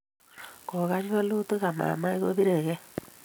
kogany walutik ama mamach kobiregei